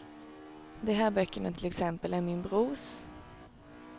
De här böckerna till exempel är min brors.